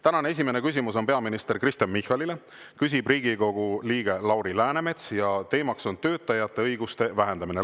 Tänane esimene küsimus on peaminister Kristen Michalile, küsib Riigikogu liige Lauri Läänemets ja teema on töötajate õiguste vähendamine.